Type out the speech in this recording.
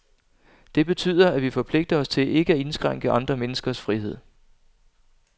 Det betyder, at vi forpligter os til ikke at indskrænke andre menneskers frihed.